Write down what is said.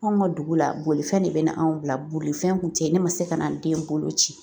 Anw ka dugu la bolifɛn de bɛ na anw bila bolifɛn kun tɛ yen ne ma se ka na n den boloci